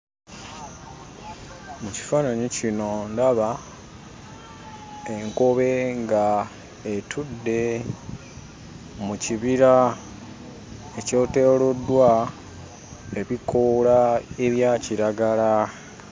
Mu kifaananyi kino ndaba enkobe nga etudde mu kibira ekyetooloddwa ebikoola ebya kiragala.